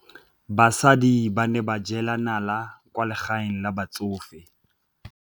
Basadi ba ne ba jela nala kwaa legaeng la batsofe.